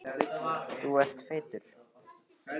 Kirstín, pantaðu tíma í klippingu á sunnudaginn.